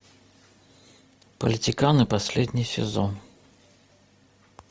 политиканы последний сезон